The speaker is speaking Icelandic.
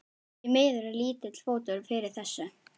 Því miður er lítill fótur fyrir þessu.